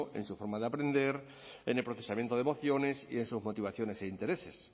en su forma de aprender en el procesamiento de emociones y en sus motivaciones e intereses